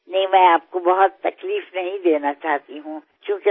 না আমি আপনাকে আর বেশি কষ্ট দিতে চাই না